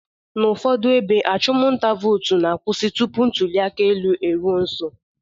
N'ụfọdụ ebe, achụmnta vootu na-akwụsị tupu ntụliaka eruo nso